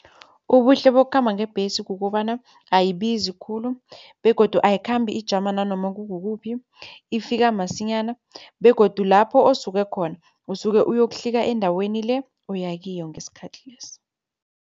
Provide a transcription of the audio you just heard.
Ubuhle bokukhamba ngebhesi kukobana ayibizi khulu begodu ayikhambi ijama nanoma kukukuphi, ifika masinyana begodu lapho osuke khona usuke uyokuhlika endaweni le oya kiyo ngesikhathi lesi.